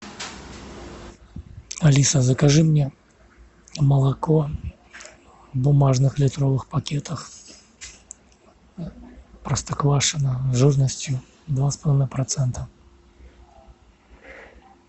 алиса закажи мне молоко в бумажных литровых пакетах простоквашино жирностью два с половиной процента